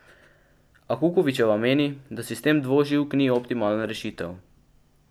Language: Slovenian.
A Kukovičeva meni, da sistem dvoživk ni optimalna rešitev.